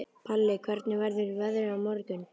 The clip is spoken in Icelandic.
Palli, hvernig verður veðrið á morgun?